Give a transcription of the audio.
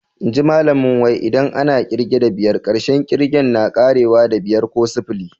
Inji Malami wai, idan ana kirge da biyar, karshen ƙigen na ƙarewa da"biyar" ko "sufuli."